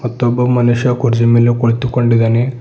ಮತ್ತು ಒಬ್ಬ ಮನುಷ್ಯ ಕುರ್ಜಿ ಮೇಲೆ ಕುಳಿತುಕೊಂಡಿದಾನೆ.